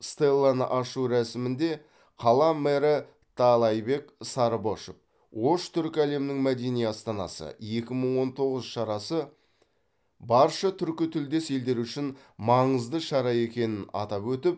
стелланы ашу рәсімінде қала мэрі таалайбек сарыбашов ош түркі әлемінің мәдени астанасы екі мың он тоғыз шарасы барша түркітілдес елдері үшін маңызды шара екенін атап өтіп